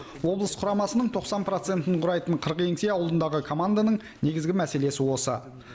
облыс құрамасының тоқсан процентін құрайтын қыркеңсе аулындағы команданың негізгі мәселесі осы